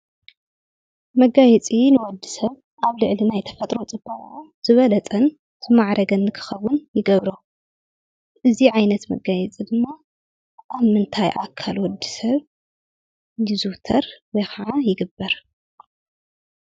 መጋየፂ ንወዲ ሰብ ኣብ ልዕሊ ናይ ተፈጥሮ ፅባቐኡ ዝበለፀን ዝማዕረገን ንክከውን ይገብሮ፡፡ አዚ ዓይነት መጋየፂ ድማ ኣብ ምንታይ ኣካል ወዲ ሰብ ይዝውተር ወይ ከዓ ይግበር?